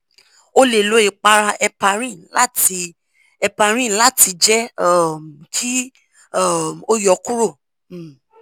o le lo ipara heparin lati heparin lati jẹ um ki um o yọ kuro um